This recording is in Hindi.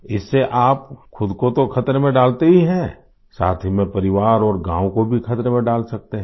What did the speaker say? इससे आप ख़ुद को तो ख़तरे में डालते ही हैं साथ ही में परिवार और गाँव को भी ख़तरे में डाल सकते हैं